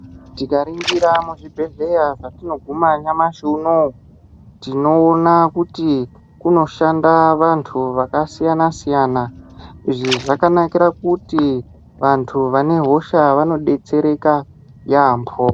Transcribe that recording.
Tikaningira muzvibhedhlera matinoguma nyamashi unowu tinoona kuti kunoshanda vantu vakasiyana siyana izvi zvakanakira kuti vantu vane hosha vanodetsereka yambo.